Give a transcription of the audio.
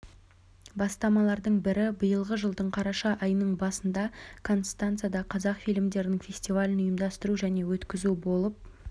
бастамалардың бірі биылғы жылдың қараша айының басында констанцада қазақ фильмдерінің фестивалін ұйымдастыру және өткізу болып